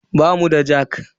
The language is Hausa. Bamu da jak.